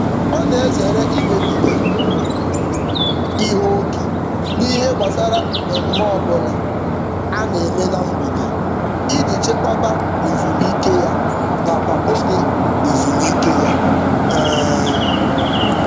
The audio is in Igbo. Ọ na-ezere imebiga ihe oke n'ihe gbasara mmemme ọbụla a na-eme na mgbede iji chekwaba ezumike ya nakwa oge ezumike ya. um